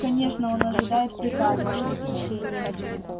конечно он ожидает приказа